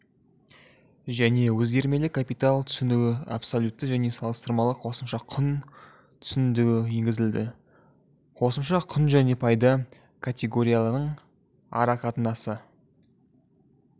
және өзгермелі капитал түсінігі абсолютті және салыстырмалы қосымша құн түсінігі енгізілді қосымша құнжәне пайда категорияларының арақатынасы